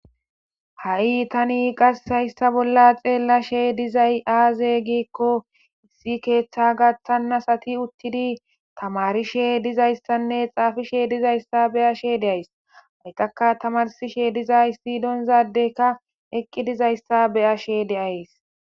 Ha7i tani qassi hayssa bolla xeellashe dizay aaze giikko issi keeththa gaththannasati uttidi tamarishe dizayssanne xaafishe dizayssa be7ashe de7ays hayqaka tamarsishe dizay sidonzadeykka eqqi dizayssa beyashe de7ays.